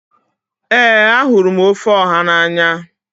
Ee ahụrụ m ofe Oha n'anya.